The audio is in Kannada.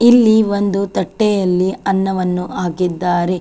ಇಲ್ಲಿ ಒಂದು ತಟ್ಟೆಯಲ್ಲಿ ಅನ್ನವನ್ನು ಹಾಕಿದ್ದಾರೆ.